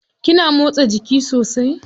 Kina motsa jiki sosai.